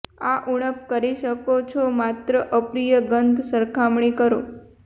આ ઊણપ કરી શકો છો માત્ર અપ્રિય ગંધ સરખામણી કરો